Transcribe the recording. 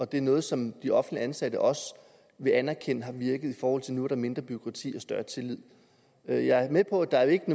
det er noget som de offentligt ansatte også vil anerkende har virket i forhold til nu er mindre bureaukrati og større tillid jeg er med på at der ikke